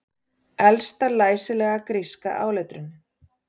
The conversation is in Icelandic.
Elsta læsilega gríska áletrunin